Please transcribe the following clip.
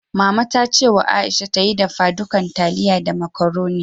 Mama ta ce wa Aisha ta yi dafadukan taliya da macaroni.